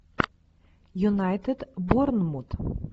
юнайтед борнмут